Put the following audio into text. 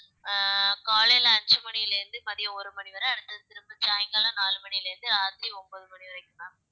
அஹ் காலையில அஞ்சு மணியில இருந்து மதியம் ஒரு மணிவரை அடுத்தது திரும்ப சாயங்காலம் நாலு மணியில இருந்து ராத்திரி ஒன்பது மணி வரைக்கும் ma'am